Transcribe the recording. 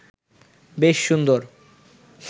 বেশ সুন্দর